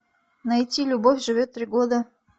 найти любовь живет три года